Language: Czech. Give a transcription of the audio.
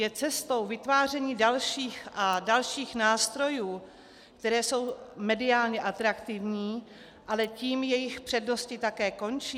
Je cestou vytváření dalších a dalších nástrojů, které jsou mediálně atraktivní, ale tím jejich přednosti také končí?